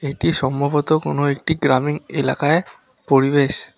এটি সম্ভবত কোনও একটি গ্রামীণ এলাকায় পরিবেশ।